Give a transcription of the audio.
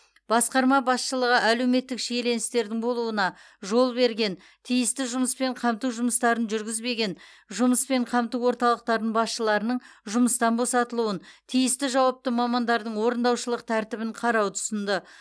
басқарма басшылығы әлеуметтік шиеленістердің болуына жол берген тиісті жұмыспен қамту жұмыстарын жүргізбеген жұмыспен қамту орталықтарының басшыларының жұмыстан босатылуын тиісті жауапты мамандардың орындаушылық тәртібін қарауды ұсынды